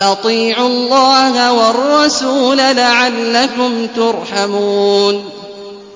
وَأَطِيعُوا اللَّهَ وَالرَّسُولَ لَعَلَّكُمْ تُرْحَمُونَ